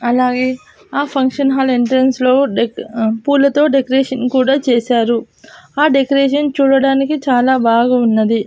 అలాగే ఆ function hall entrance లో డెక్ పూలతో డెకరేషన్ కూడా చేశారు ఆ డెకరేషన్ చూడడానికి చాలా బాగున్నది.